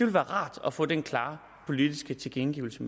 være rart at få den klare politiske tilkendegivelse